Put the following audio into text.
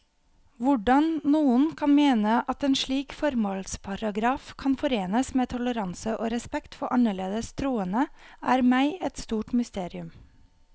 Hvordan noen kan mene at en slik formålsparagraf kan forenes med toleranse og respekt for annerledes troende, er meg et stort mysterium.